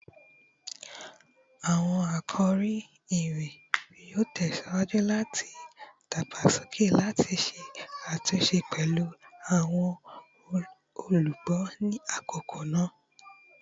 Awọn akori iwin yoo tẹsiwaju lati dagbasoke lati ṣe atunṣe pẹlu awọn olugbo ni akoko naa